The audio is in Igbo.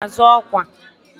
Ọ ga-azọ ọkwa?